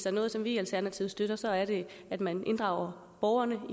er noget som vi i alternativet støtter så er det at man inddrager borgerne